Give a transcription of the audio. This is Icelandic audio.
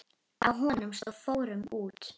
Á honum stóð: Fórum út!